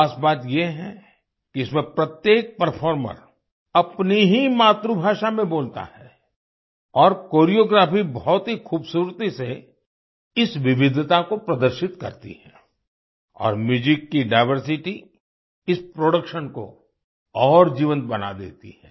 खास बात ये है कि इसमें प्रत्येक परफॉर्मर अपनी ही मातृभाषा में बोलता है और कोरियोग्राफी बहुत ही खूबसूरती से इस विविधता को प्रदर्शित करती है और म्यूजिक की डाइवर्सिटी इस प्रोडक्शन को और जीवंत बना देती है